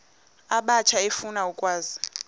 abatsha efuna ukwazi